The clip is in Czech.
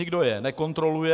Nikdo je nekontroluje.